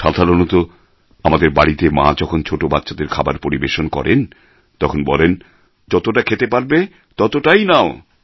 সাধারণত আমাদের বাড়িতে মা যখন ছোটো বাচ্চাদের খাবার পরিবেশন করেন তখন বলেন যতটা খেতে পারবে ততটাই নাও